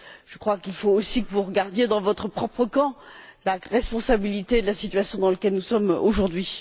Je crois qu'il faut aussi que vous cherchiez dans votre propre camp la responsabilité de la situation dans laquelle nous sommes aujourd'hui.